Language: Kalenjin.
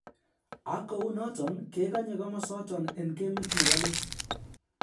Ak kounoton kegonye komosoton en gemit nebo let